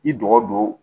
I dɔgɔ don